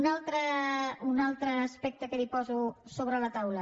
un altre aspecte que li poso sobre la taula